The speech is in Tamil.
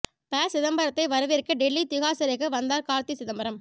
ப சிதம்பரத்தை வரவேற்க டெல்லி திஹார் சிறைக்கு வந்தார் கார்த்தி சிதம்பரம்